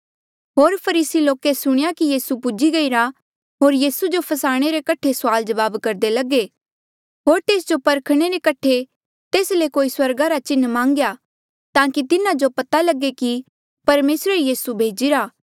होर फरीसी लोके सुणेया कि यीसू पूजी गईरा स्यों आये होर यीसू जो फसाणे रे कठे सुआल जवाब करदे लगे होर तेस जो परखणे रे कठे तेस ले कोई स्वर्गा रा चिन्ह मान्गेया ताकि तिन्हा जो पता लगे कि परमेसरे ई यीसू भेजिरा